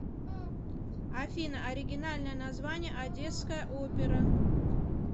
афина оригинальное название одесская опера